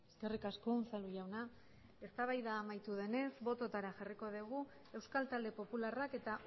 eskerrik asko unzalu jauna eztabaida amaitu denez bototara jarriko dugu euskal talde popularrak eta